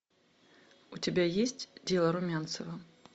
у тебя есть дело румянцева